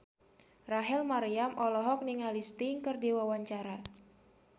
Rachel Maryam olohok ningali Sting keur diwawancara